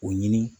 O ɲini